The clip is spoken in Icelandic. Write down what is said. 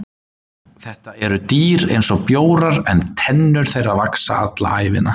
Þetta eru dýr eins og bjórar en tennur þeirra vaxa alla ævina.